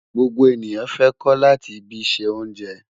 Gbogbo eniyan fẹ ko lati bi se onje